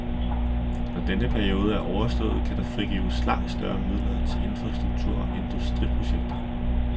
Når denne periode er overstået kan der frigives langt større midler til infrastruktur og industriprojekter.